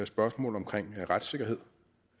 spørgsmål om retssikkerhed